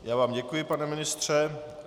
Já vám děkuji, pane ministře.